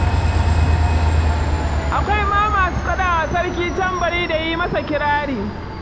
Akwai ma masu kaɗa wa sarki tambari da yi masa kirari.